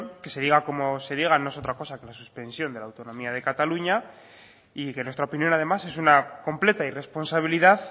que se diga cómo se diga no es otra cosa que la suspensión de la autonomía de cataluña y que nuestra opinión además es una completa irresponsabilidad